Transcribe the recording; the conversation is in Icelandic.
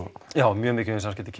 mjög mikið um samskipti